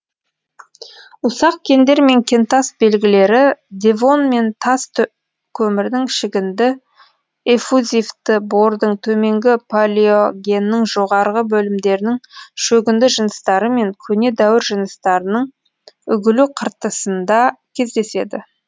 ұсақ кендер мен кентас белгілері девон мен тас көмірдің шөгінді эффузивті бордың төменгі палеогеннің жоғарғы бөлімдерінің шөгінді жыныстары мен көне дәуір жыныстарының үгілу қыртысында кездеседі